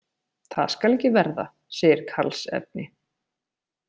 Það skal ekki verða, segir Karlsefni.